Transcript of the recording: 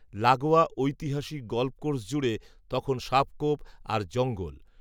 লাগোয়া ঐতিহাসিক golf course জুড়ে, তখন সাপখোপ, আর জঙ্গল